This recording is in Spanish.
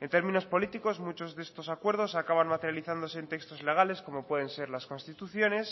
en términos políticos muchos de estos acuerdos acaban materializándose en textos legales como pueden ser las constituciones